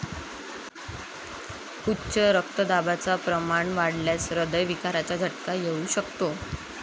उच्च रक्तदाबाचं प्रमाण वाढल्यास ऱ्हदय विकाराचा झटका येऊ शकतो.